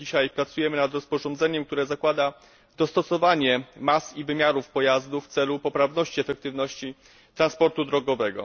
Dzisiaj pracujemy nad rozporządzeniem, które zakłada dostosowanie mas i wymiarów pojazdów w celu poprawności efektywności transportu drogowego.